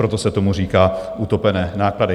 Proto se tomu říká utopené náklady.